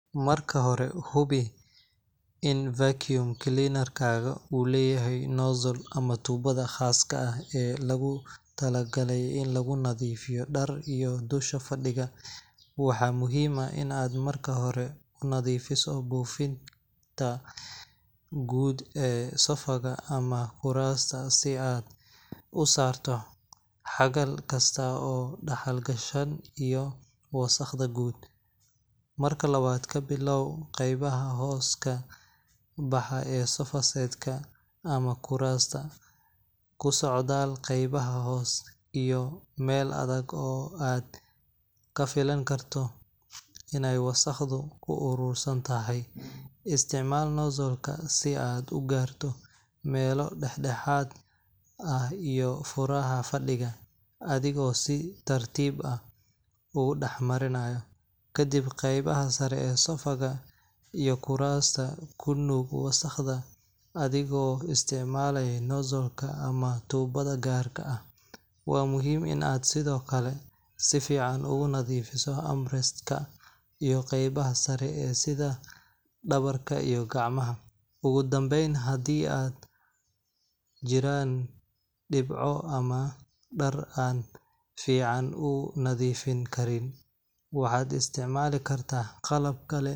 Marka hore, hubi in vacuum cleaner kaaga uu leeyahay nozzle ama tuubbada khaaska ah ee loogu talagalay in lagu nadiifiyo dhar iyo dusha fadhiga. Waxaa muhiim ah in aad marka hore ku nadiifiso buufinta guud ee sofa ka ama kuraasta si aad u saarto xagal kasta oo dhaxal gashan iyo wasakhda guud. Marka labaad, ka bilow qaybaha hoos ka baxa ee sofaset ka ama kuraasta. Ku socdaal qaybaha hoos iyo meelo adag oo aad ka filan karto inay wasakhdu ku urursan tahay. Isticmaal nozzle ga si aad u gaarto meelo dhexdhexaad ah iyo furaha fadhiga, adigoo si tartiib ah ugu dhex mariya. Ka dib, qaybaha sare ee sofa ka iyo kuraasta ku nuug wasakhda adigoo isticmaalaya nozzle ga ama tuubbada gaarka ah. Waa muhiim in aad sidoo kale si fiican ugu nadiifiso armrests ka iyo qeybaha sare ee sida dhabarka iyo gacmaha. Ugu dambeyn, haddii ay jiraan dhibco ama dhar aan si fiican u nadiifin karin, waxaad isticmaali kartaa qalab kale